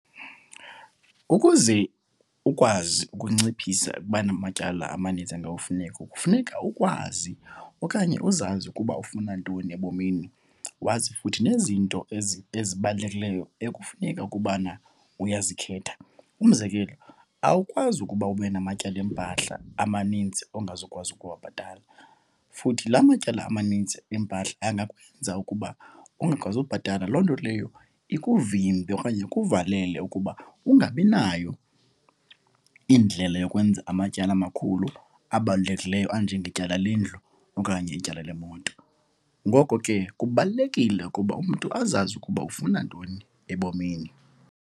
Ukuze ukwazi ukunciphisa ukuba namatyala amaninzi kufuneka ukwazi okanye uzazi ukuba ufuna ntoni ebomini. Wazi futhi nezinto ezibalulekileyo ekufuneka ukubana uyazikhetha. Umzekelo awukwazi ukuba ube namatyala empahla amaninzi ongazukwazi ukuwabhatala futhi la matyala amanintsi empahla angakwenza ukuba ungakwazi ubhatala. Loo nto leyo ikuvimbe okanye ikuvalele ukuba ungabi nayo indlela yokwenza amatyala amakhulu abalulekileyo anjengetyala lendlu okanye ityala lemoto. Ngoko ke kubalulekile ukuba umntu azazi ukuba ufuna ntoni ebomini.